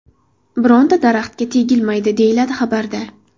Bironta daraxtga tegilmaydi”, deyiladi xabarda.